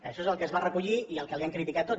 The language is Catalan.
això és el que es va recollir i el que li han criticat tots